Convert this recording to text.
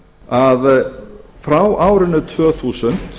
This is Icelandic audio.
að frá árinu tvö þúsund